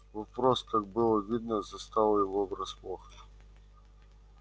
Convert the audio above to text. вопрос как было видно застал его врасплох